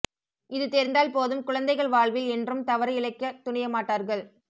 இது தெரிந்தால் போதும் குழந்தைகள் வாழ்வில் என்றும் தவறு இழைக்க துணிய மாட்டார்கள்